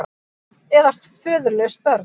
Eða föðurlaus börn.